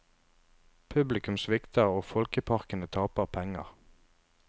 Publikum svikter og folkeparkene taper penger.